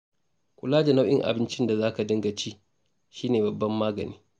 Kula da nau'in abincin da za ka dinga ci shi ne babban magani.